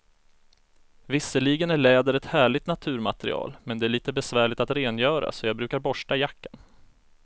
Visserligen är läder ett härligt naturmaterial, men det är lite besvärligt att rengöra, så jag brukar borsta jackan.